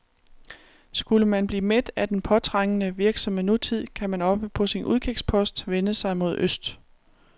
Skulle man blive mæt af den påtrængende, virksomme nutid, kan man oppe på sin udkigspost vende sig mod øst.